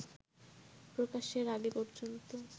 প্রকাশের আগে পর্যন্ত